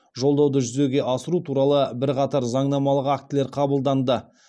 жолдауды жүзеге асыру туралы бірқатар заңнамалық актілер қабылданды